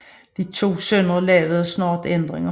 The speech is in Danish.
De to sønner lavede snart ændringer